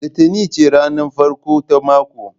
Litinin ce ranar farko ta mako?